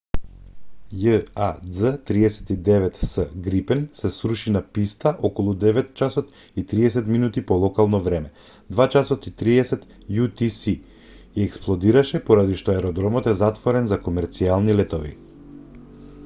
jas 39c грипен се сруши на писта околу 9:30 am по локално време 2:30 utc и експлодираше поради што аеродромот е затворен за комерцијални летови